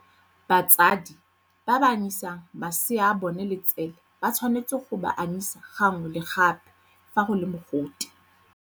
Batsadi ba ba anyisang masea a bona letswele ba tshwanetse go ba anyisa gangwe le gape fa go le mogote.